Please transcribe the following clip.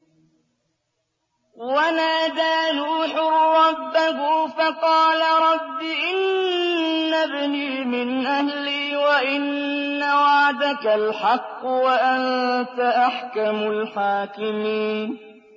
وَنَادَىٰ نُوحٌ رَّبَّهُ فَقَالَ رَبِّ إِنَّ ابْنِي مِنْ أَهْلِي وَإِنَّ وَعْدَكَ الْحَقُّ وَأَنتَ أَحْكَمُ الْحَاكِمِينَ